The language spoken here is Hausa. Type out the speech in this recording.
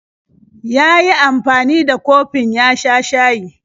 Ya yi amfani da kofin ya sha shayi.